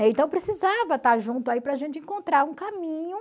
Então, precisava estar junto aí para a gente encontrar um caminho.